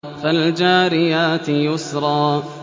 فَالْجَارِيَاتِ يُسْرًا